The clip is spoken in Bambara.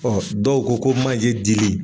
dɔw ko ko manje dili